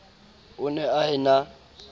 o ne a e na